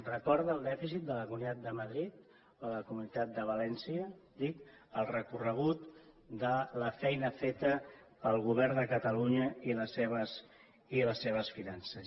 recorda el dèficit de la comunidad de madrid o de la comunitat de valència dic el recorregut de la feina feta pel govern de catalunya i les seves finances